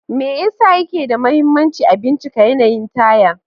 Me yasa yake da mahimmanci a bincika yanayin taya?